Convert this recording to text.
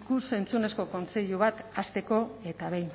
ikus entzunezko kontseilu bat hasteko eta behin